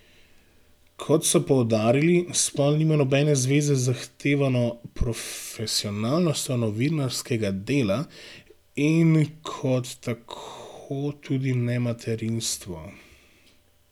Kot so poudarili, spol nima nobene zveze z zahtevano profesionalnostjo novinarskega dela in kot tako tudi ne materinstvo.